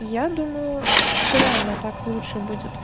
я думаю что реально так лучше будет